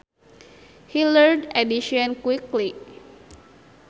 He learned addition quickly